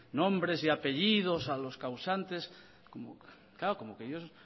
nombres y apellidos de los causantes claro como que ellos